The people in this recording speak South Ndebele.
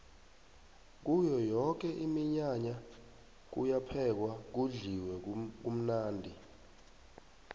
kuyo yoke iminyanya kuyaphekwa kudliwe kamnandi